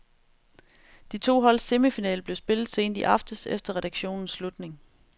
De to holds semifinale blev spillet sent i aftes efter redaktionens slutning.